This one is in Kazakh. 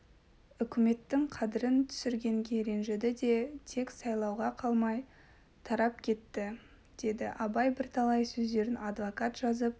үкіметтің қадірін түсіргенге ренжіді де тек сайлауға қалмай тарап кетті деді абай бірталай сөздерін адвокат жазып